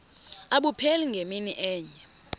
abupheli ngemini enye